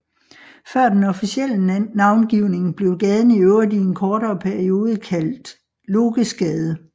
Før den officielle navngivning blev gaden i øvrigt i en kort periode kaldt Lokesgade